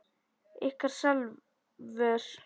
Ykkar Salvör.